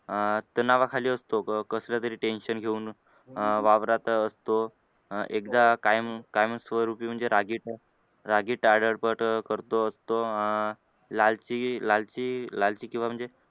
अह तणावाखाली असतो कसलं तरी tension घेऊन अं वावरत असतो अह एकदा कायम कायमस्वरूपी म्हणजे रागीट रागीट पट करतो अं लालची लालची लालची किंवा म्हणजे